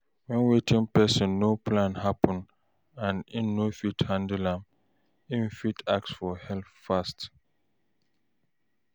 When wetin person no plan happen and im no fit handle am, im fit ask for help fast